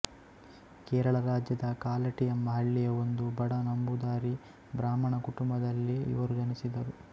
ಕೇರಳ ರಾಜ್ಯದ ಕಾಲಟಿ ಎಂಬ ಹಳ್ಳಿಯ ಒಂದು ಬಡ ನಂಬೂದರಿ ಬ್ರಾಹ್ಮಣ ಕುಟುಂಬದಲ್ಲಿ ಇವರು ಜನಿಸಿದರು